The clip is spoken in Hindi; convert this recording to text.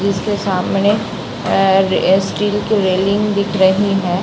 इसके सामने अ स्टील की रैलिंग दिख रही है।